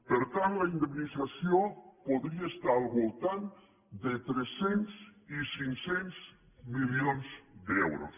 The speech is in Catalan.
per tant la indemnització podria estar al voltant de tres cents i cinc cents milions d’euros